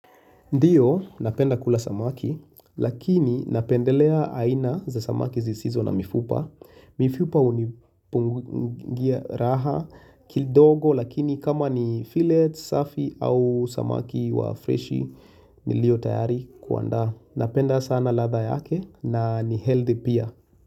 Ndiyo napenda kula samaki lakini napendelea aina za samaki zisizo na mifupa. Mifupa hunipunguzia raha kidogo lakini kama ni fillet safi au samaki wa freshi nilio tayari kuandaa. Napenda sana ladha yake na ni healthy pia.